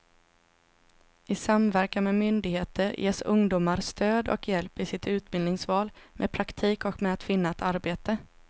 I samverkan med myndigheter ges ungdomar stöd och hjälp i sitt utbildningsval, med praktik och med att finna ett arbete.